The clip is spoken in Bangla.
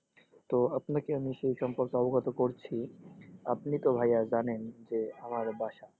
তো আপনাকে আমি সেই সম্পর্কে অবগত করছি, আপনি তো ভাইয়া জানেন যে আমার বাসা,